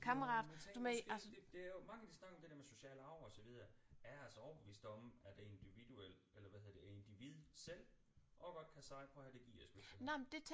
Ja men jeg tænker måske det det er jo mange de snakker om det der med social arv og så videre jeg er altså overbevist om at det er individuel eller hvad hedder det individet selv også godt kan sige prøv at hør det gider jeg sgu ikke det der